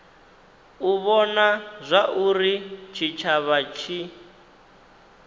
u vhona zwauri tshitshavha tshi